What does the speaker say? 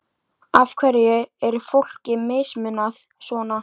Hvernig gengur ykkur annars að skilja sauðina frá höfrunum?